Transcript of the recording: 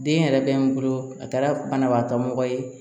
Den yɛrɛ bɛ n bolo a kɛra banabagatɔ mɔgɔ ye